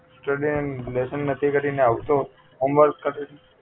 study and lesson નથી કરીને આવતો homework ઘરે થી